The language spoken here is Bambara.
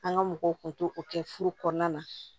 An ga mɔgɔw kun t'o kɛ furu kɔnɔna na